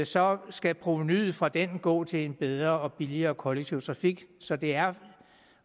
så skal provenuet fra den gå til en bedre og billigere kollektiv trafik så det er